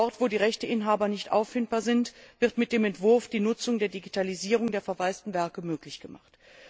Dort, wo die Rechteinhaber nicht auffindbar sind, wird mit dem Entwurf die Nutzung der Digitalisierung der verwaisten Werke möglich gemacht.